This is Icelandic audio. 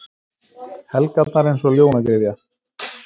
Helgarnar eins og ljónagryfja.